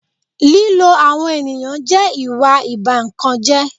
Lílo àwọn ènìyàn jẹ́ ìwà ìba ìkan jẹ́